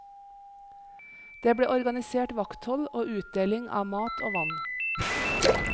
Det ble organisert vakthold og utdeling av mat og vann.